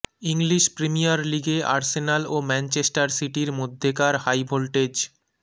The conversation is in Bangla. ইংলিশ প্রিমিয়ার লিগে আর্সেনাল ও ম্যানচেস্টার সিটির মধ্যকার হাইভোল্টেজ